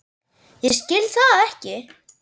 Ég skil það ekki!